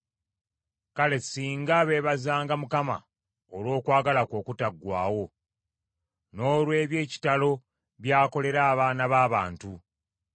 Kale singa beebazanga Mukama olw’okwagala kwe okutaggwaawo, n’olw’eby’ekitalo by’akolera abaana b’abantu!